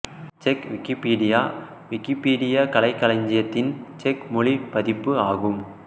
check Wikipedia Wikipedia கலைக் களஞ்சியத்தின் செக் மொழி பதிப்பு ஆகும்